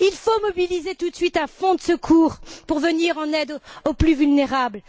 Il faut mobiliser tout de suite un fonds de secours pour venir en aide aux plus vulnérables.